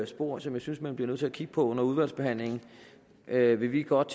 spor som jeg synes man bliver nødt til at kigge på under udvalgsbehandlingen vil vi godt